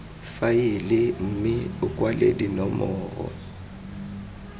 faele mme o kwale dinomoro